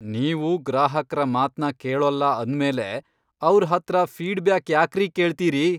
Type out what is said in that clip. ನೀವು ಗ್ರಾಹಕ್ರ ಮಾತ್ನ ಕೇಳೋಲ್ಲ ಅಂದ್ಮೇಲೆ ಅವ್ರ್ ಹತ್ರ ಫೀಡ್ಬ್ಯಾಕ್ ಯಾಕ್ರೀ ಕೇಳ್ತೀರಿ?